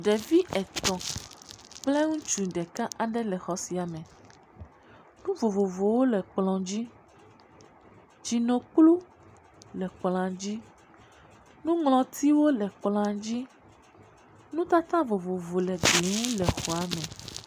Ɖevi etɔ̃ kple ŋutsu ɖeka ɖe le xɔ sia me nu vovovowo le kplɔ dzi. Tsinukplu le kplɔ dzi nɔŋlɔtiwo le kplɔa dzi, nutata vovovowo le gli ŋu le xɔa me.